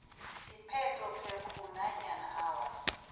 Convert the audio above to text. siphethophekghu nanyana awa